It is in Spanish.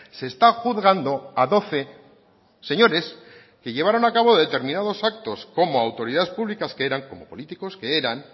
se está juzgando a doce señores que llevaron a cabo determinados actos como autoridad públicas que eran como políticos que eran